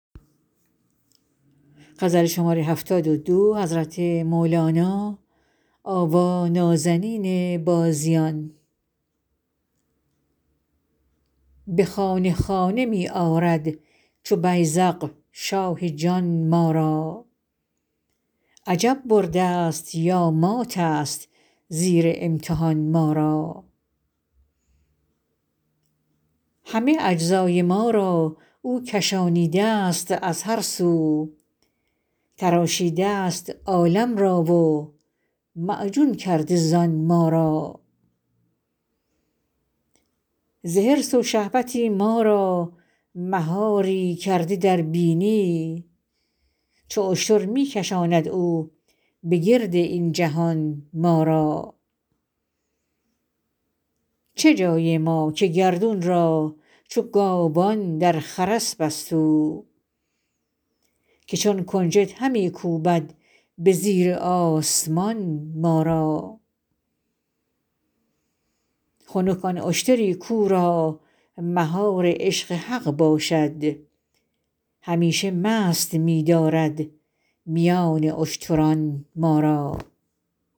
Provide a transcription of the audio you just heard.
به خانه خانه می آرد چو بیذق شاه جان ما را عجب بردست یا ماتست زیر امتحان ما را همه اجزای ما را او کشانیده ست از هر سو تراشیده ست عالم را و معجون کرده زان ما را ز حرص و شهوتی ما را مهاری کرده در بینی چو اشتر می کشاند او به گرد این جهان ما را چه جای ما که گردون را چو گاوان در خرس بست او که چون کنجد همی کوبد به زیر آسمان ما را خنک آن اشتری کاو را مهار عشق حق باشد همیشه مست می دارد میان اشتران ما را